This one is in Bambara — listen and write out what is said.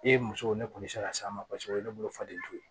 E musow ne kɔni bɛ se ka s'a ma o ye ne bolo faden to ye